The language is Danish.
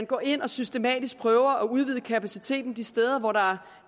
går ind og systematisk prøver at udvide kapaciteten de steder hvor der